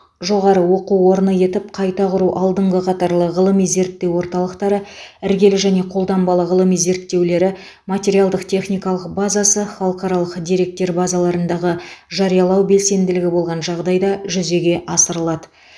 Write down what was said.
жоғары оқу орны етіп қайта құру алдыңғы қатарлы ғылыми зерттеу орталықтары іргелі және қолданбалы ғылыми зерттеулері материалдық техникалық базасы халықаралық деректер базаларындағы жариялау белсенділігі болған жағдайда жүзеге асырылады